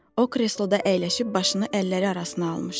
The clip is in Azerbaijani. O kresloda əyləşib başını əlləri arasına almışdı.